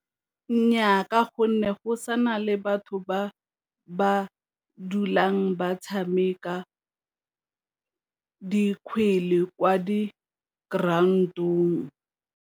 Nnyaa, ka gonne go sa na le batho ba ba dulang ba tshameka dikgwele kwa di-ground-ong.